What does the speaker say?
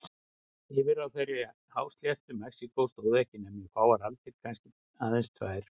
Yfirráð þeirra á hásléttu Mexíkó stóðu ekki nema í fáar aldir, kannski aðeins tvær.